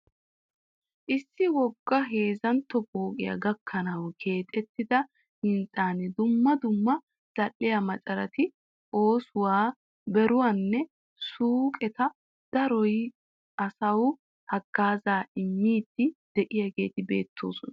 Issi wogga heezzanto pooqqiya gakkanawu keexxettida hinxxan dumma dumma zal'iya maccarati oosuwa beeruwanne suuqeta dooyidi asawu hagaazaa immidi de'iyaageeti beettoosona.